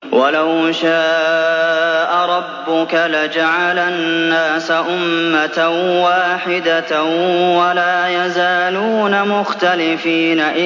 وَلَوْ شَاءَ رَبُّكَ لَجَعَلَ النَّاسَ أُمَّةً وَاحِدَةً ۖ وَلَا يَزَالُونَ مُخْتَلِفِينَ